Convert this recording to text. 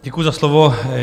Děkuju za slovo.